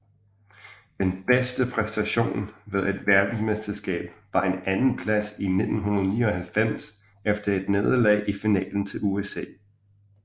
Den bedste præstation ved et verdensmesterskab var en andenplads i 1999 efter et nederlag i finalen til USA